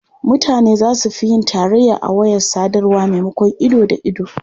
Mutane za su fi yin tarayya a wayar sadarwa maimakon ido da ido.